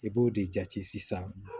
I b'o de jate sisan